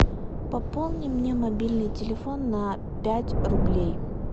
пополни мне мобильный телефон на пять рублей